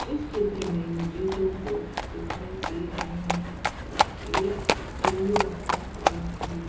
इस चित्र में मुझे दो बॉक्स दिखाई दे रहे हैं और एक ट्यूब रखा हुआ है।